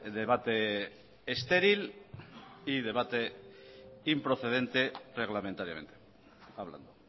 debate estéril y debate improcedente reglamentariamente hablando